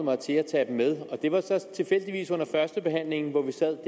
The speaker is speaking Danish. mig til at tage dem med og det var så tilfældigvis under førstebehandlingen hvor vi sad